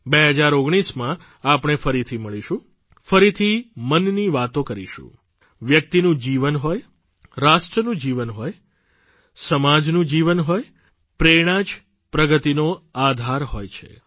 2019માં આપણે ફરીથી મળીશું ફરીથી મનની વાતો કરીશું વ્યક્તિનું જીવન હોય રાષ્ટ્રનું જીવન હોય સમાજનું જીવન હોય પ્રેરણા જ પ્રગતિનો આધાર હોય છે